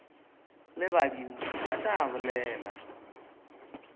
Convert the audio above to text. le badimo ba tla bolela